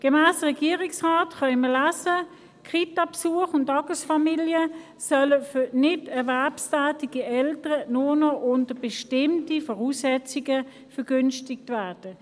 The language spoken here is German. Gemäss Regierungsrat – wir können es lesen – sollen Kitabesuche und Tagesfamilien für nicht erwerbstätige Eltern nur noch unter bestimmten Voraussetzungen vergünstigt werden.